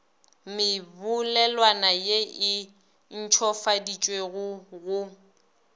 mebolelwana ye e ntšhofaditšwego go